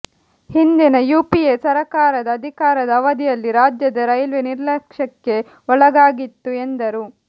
ಹಿಂದಿನ ಯುಪಿಎ ಸರಕಾರದ ಅಧಿಕಾರದ ಅವಧಿಯಲ್ಲಿ ರಾಜ್ಯದ ರೈಲ್ವೇ ನಿರ್ಲಕ್ಷ್ಯಕ್ಕೆ ಒಳಗಾಗಿತ್ತು ಎಂದರು